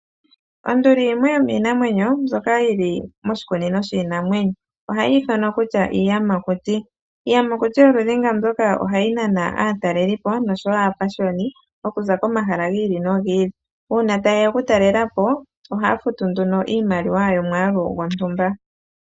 Onduli yimwe yomiinamwenyo mbyoka yili moshikunino shiinamwenyo. Ohayi ithanwa kutya iiyamakuti. Iiyamakuti yoludhi nga mbyoka, ohayi nana aatalelipo nosho wo aapashiyoni oku za komahala gi ili nogi ili. Uuna taye ya okutalela po, ohaya futu nduno iimaliwa yomwaalu gwontumba.